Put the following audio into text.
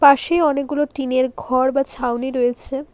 পাশে অনেকগুলো টিন -এর ঘর বা ছাউনি রয়েছে।